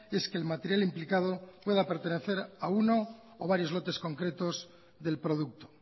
es que el material implicado pueda pertenecer a uno o varios lotes concretos del producto